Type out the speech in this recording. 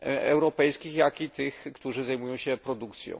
europejskich, jak i tych, którzy zajmują się produkcją.